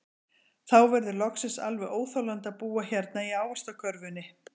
Þá verður loksins alveg óþolandi að búa hérna í ávaxtakörfunni.